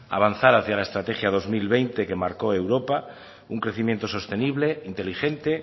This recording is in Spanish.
avanzar hacia la estrategia dos mil veinte que marcó europa un crecimiento sostenible inteligente